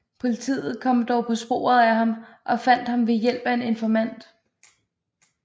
Politiet kom dog på sporet af ham og fandt ham ved hjælp af en informant